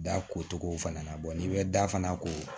Da ko cogo fana na n'i bɛ da fana ko